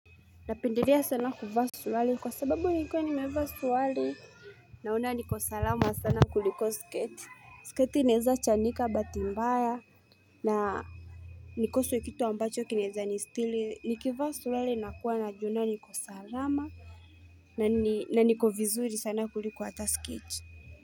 Napendelea sana kuvaa suruali kwa sababu nikiwa nimevaa suruali Naona niko salama sana kuliko sketi sketi inaeza chanika bahati mbaya na nikose kitu ambacho kinaeza nisitiri nikivaa suruali nakuwa najiona niko salama na niko vizuri sana kuliko hata sketi.